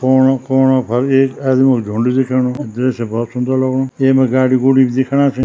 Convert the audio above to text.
कुनो-कुनो पर एक आदमी क झुण्ड दिखेणु दृश्य बहौत सुन्दर लगणु येमा गाड़ी-गुड़ी भी दिखेणा छिन।